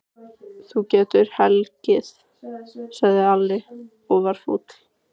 Þú getur hlegið, sagði Alli og var fúll.